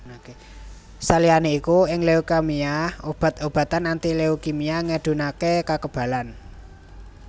Saliyané iku ing leukemia obat obatan anti leukimia ngedhunaké kakebalan